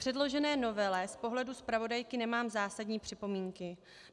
Předložené novele z pohledu zpravodajky nemám zásadní připomínky.